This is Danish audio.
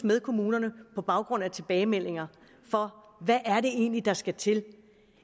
med kommunerne på baggrund af tilbagemeldinger for hvad er det egentlig der skal til